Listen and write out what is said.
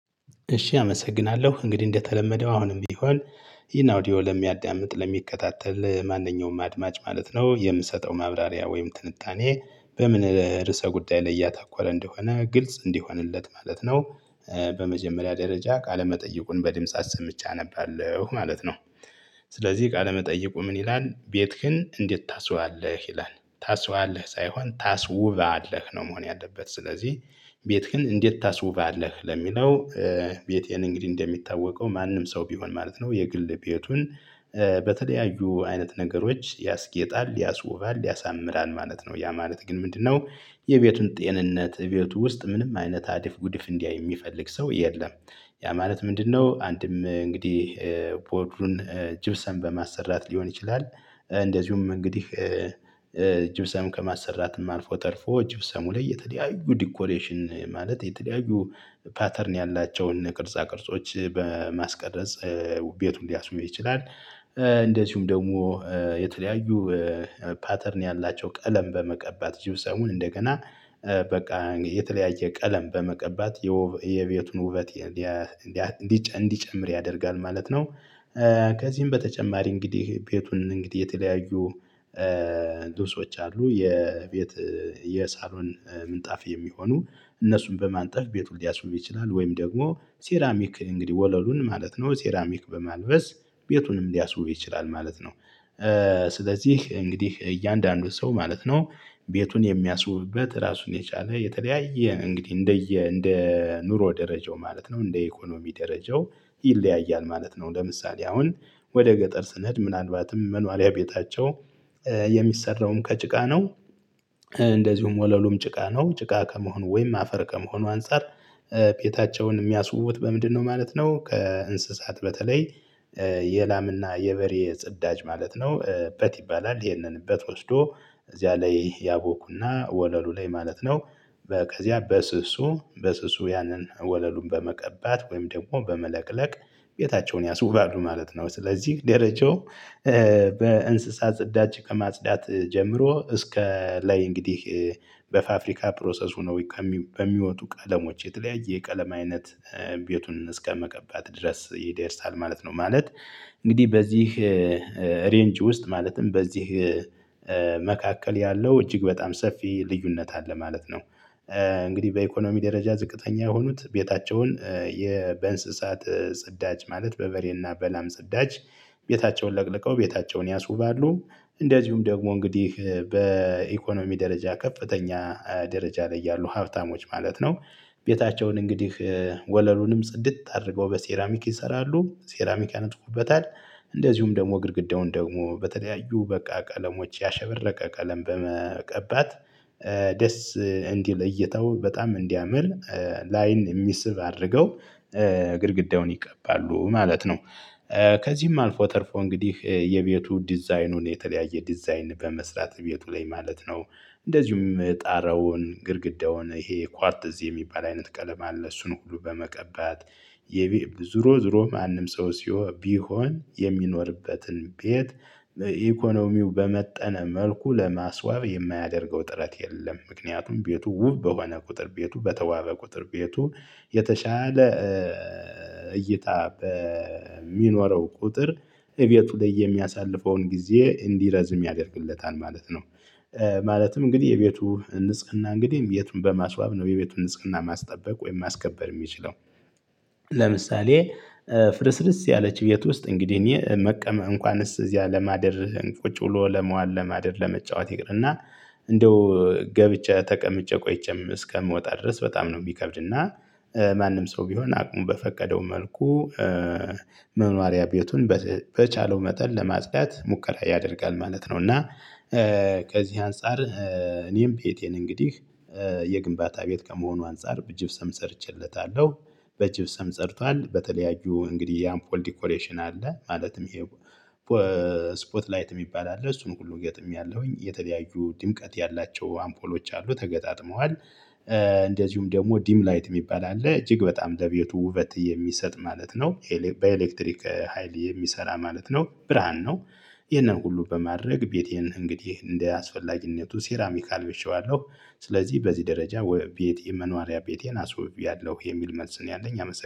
እሺ አመሰግናለሁ እንግዲህ እንደተለመደው አሁንም ቢሆን ይሄን አውዲዮ ለሚያዳምጥ ለሚከታተል ማንኛውም አድማጭ ማለት ነው የምሰጠው ማብራሪያ ወይም ትንታኔ በምን ርዕሰ ጉዳይ ላይ እያታኮረ እንደሆነ ግልጽ እንዲሆንለት ማለት ነው። በመጀመሪያ ደረጃ ቃለመጠይቁን በድምጽ አሰምቼ አነባለሁ ማለት ነው። ስለዚህ ቃለመጠየቁ ምን ይላል ቤትህን እንዴት ታስዋለህ ይላል? ታስዋለህ ሳይሆን ታስውባለህ ነው መሆን ያለበት ስለዚህ ቤትህን እንዴት ታስውባለህ ለሚለው? ቤቴን እንግዲህ እንደሚታወቀው ማንም ሰው ቢሆን ማለት ነው የግል ቤቱን። በተለያዩ አይነት ነገሮች ያስጌጣል ያስዉባል ያሳምራል ማለት ነው ያ ማለት ግን ምንድነው? የቤቱን ጤንነት ቤቱ ውስጥ ምንም አይነት አደፍ ጉድፍ እንዲያይ የሚፈልግ ሰው የለም። ያ ማለት ምንድነው? አንድም እንግዲህ ፖድሩን ጅብሰም በማሰራት ሊሆን ይችላል። እንደዚሁም እንግዲህ ጅብሰም ከማሰራትም ማልፎ ተርፎ ጅብሰሙ ላይ የተለያዩ ዲኮሬሽን ማለት የተለያዩ ፓተርን ያላቸውን ቅርጻ ቅርጾች በማስቀረጽ ቤቱን ሊያስዉብ ይችላል። እንደዚሁም ደግሞ የተለያዩ ፓተርን ያላቸው ቀለም በመቀባት ጅብሰሙን እንደገና በቃ የተለያየ ቀለም በመቀባት የቤቱን ውበት እንዲጨምር ያደርጋል ማለት ነው። ከዚህም በተጨማሪ እንግዲህ ቤቱን እንግዲህ የተለያዩ ድምጾች አሉ የቤት የሳሎን ምንጣፍ የሚሆኑ እነሱን በማንጠፍ ቤቱን ሊያስዉብ ይችላል ወይም ደግሞ ሲራሚክ እንግዲህ ወለሉን ማለት ነው ሴራሚክ በማልበስ ቤቱንም ሊያስውብ ይችላል ማለት ነው። ስለዚህ እንግዲህ እያንዳንዱ ሰው ማለት ነው ቤቱን የሚያስውብበት ራሱን የቻለ የተለያየ እንግዲህ እንደየ እንደ ኑሮ ደረጃው ማለት ነው እንደ ኢኮኖሚ ደረጃው ይለያያል ማለት ነው። ለምሳሌ አሁን ወደ ገጠር ስንሄድ ምናልባትም መኗርያ ቤታቸው የሚሰራውም ከጭቃ ነው። እንደዚሁም ወለሉም ጭቃ ነው ጭቃ ከመሆኑ ወይም አፈር ከመሆኑ አንፃር ቤታቸውን የሚያስውቡት በምንድነው ማለት ነው? ከእንስሳት በተለይ የላምና የበሬ ጽዳጅ ማለት ነው እበት ይባላል ይሄንን እበት ወስዶ እዚያ ላይ ያቦኩና ወለሉ ላይ ማለት ነው። ከዚያ በስሱ በስሱ ያንን ወለሉን በመቀባት ወይም ደግሞ በመለቅለቅ ቤታቸውን ያስውባሉ ማለት ነው። ስለዚህ ደረጃው በእንስሳ ጽዳች ከማጽዳት ጀምሮ እስከ ላይ እንግዲህ በፋፍሪካ ፕሮሰስ ሁነው በሚወጡ ቀለሞች የተለያየ የቀለም አይነት ቤቱን እስከመቀባት ድረስ ይደርሳል ማለት ነው። ማለት እንግዲህ በዚህ ሬንጅ ውስጥ ማለትም በዚህ መካከል ያለው እጅግ በጣም ሰፊ ልዩነት አለ ማለት ነው። እንግዲህ በኢኮኖሚ ደረጃ ዝቅተኛ የሆኑት ቤታቸውን በእንስሳት ጽዳጅ ማለት በበሬና በላም ጽዳጅ ቤታቸውን ለቅልቀው ቤታቸውን ያስውባሉ። እንደዚሁም ደግሞ እንግዲህ በኢኮኖሚ ደረጃ ከፍተኛ ደረጃ ላይ ያሉ ሀብታሞች ማለት ነው ቤታቸውን እንግዲህ ወለሉንም ጽድት አድርገው በሴራሚክ ይሰራሉ ሴራሚክ ያነጥፉበታል እንደዚሁም ደግሞ ግድግዳውን ደግሞ በተለያዩ በቃ ቀለሞች ያሸበረቀ ቀለም በመቀባት ደስ እንዲለይተው በጣም እንዲያምር ላይን የሚስብ አድርገው ግድግዳውን ይቀባሉ ማለት ነው። ከዚህም አልፎ ተርፎ እንግዲህ የቤቱ ዲዛይኑን የተለያየ ዲዛይን በመስራት ቤቱ ላይ ማለት ነው እንደዚሁም ጣራውን ግድግዳውን ይሄ ኳርትዝ የሚባል አይነት ቀለም አለ እሱን ሁሉ በመቀባት የቢብ ዙሮ ዙሮ ማንም ሰው ሲሆ ቢሆን የሚኖርበትን ቤት በኢኮኖሚው በመጠነ መልኩ ለማስዋብ የማያደርገው ጥረት የለም ምክንያቱም ቤቱ ውብ በሆነ ቁጥር ቤቱ በተዋበ ቁጥር ቤቱ የተሻለ እይታ በሚኖረው ቁጥር እቤቱ ላይ የሚያሳልፈውን ጊዜ እንዲረዝም ያደርግለታል ማለት ነው። ማለትም እንግዲህ የቤቱ ንጽህና እንግዲህ ቤቱን በማስዋብ ነው የቤቱን ንጽህና ማስጠበቅ ወይም ማስከበር የሚችለው። ለምሳሌ ፍርስርስ ያለች ቤት ውስጥ እንግዲህ እኔ መቀመ እንኳንስ እዚያ ለማደርህ ቁጭ ብሎ ለመዋል ለማደር ለመጫወት ይቅርና እንደው ገብቼ ተቀምጬ ቆይቼም እስከምወጣ ድረስ በጣም ነው የሚከብድና ማንም ሰው ቢሆን አቅሙ በፈቀደው መልኩ መኗርያ ቤቱን በቻለው መጠን ለማጽዳት ሙከራ ያደርጋል ማለት ነው። እና ከዚህ አንፃር እኔም ቤቴን እንግዲህ የግንባታ ቤት ከመሆኑ አንፃር በጅብሰም ሰርቼለታለሁ። በጅብሰም ጸድቷል በተለያዩ እንግዲህ የአምፖል ዲኮሬሽን አለ ማለትም ይሄ ስፖት ላይት የሚባል አለ እሱን ሁሉ ገጥሜያለሁኝ የተለያዩ ድምቀት ያላቸው አምፖሎች አሉ ተገጣጥመዋል። እንደዚሁም ደግሞ ዲም ላይት የሚባል አለ እጅግ በጣም ለቤቱ ውበት የሚሰጥ ማለት ነው። በኤሌክትሪክ ሀይል የሚሰራ ማለት ነው ብርሃን ነው። ይህንን ሁሉ በማድረግ ቤቴን እንግዲህ እንደ አስፈላጊነቱ ሴራሚክ አልብሼዋለሁ ስለዚህ በዚህ ደረጃ ቤቴ መኗሪያ ቤቴን አስውብያለሁ የሚል መልስ ነው ያለኝ